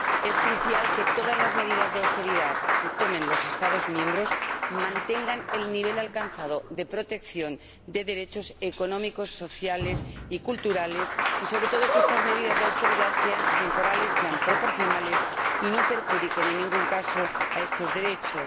Es crucial que todas las medidas de austeridad que tomen los Estados miembros mantengan el nivel alcanzado de protección de derechos económicos, sociales y culturales y, sobre todo, que estas medidas de austeridad sean temporales, sean proporcionales y no perjudiquen en ningún caso a estos derechos.